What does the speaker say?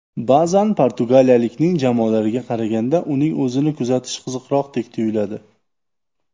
Ba’zan portugaliyalikning jamoalariga qaraganda, uning o‘zini kuzatish qiziqroqdek tuyuladi.